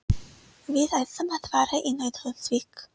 Við ætlum að fara í Nauthólsvík.